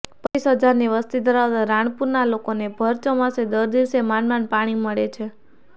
પચ્ચીસ હજારની વસ્તી ધરાવતા રાણપુરના લોકોને ભર ચોમાસે દસ દિવસે માંડ માંડ પાણી મળે છે